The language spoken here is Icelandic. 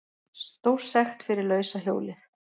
Stórsekt fyrir lausa hjólið